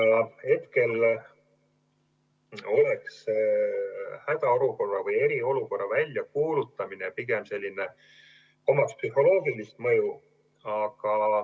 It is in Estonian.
Praegu omaks hädaolukorra või eriolukorra väljakuulutamine pigem sellist psühholoogilist mõju.